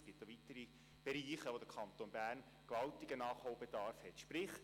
Es gibt weitere Bereiche, in denen der Kanton Bern gewaltigen Nachholbedarf hat.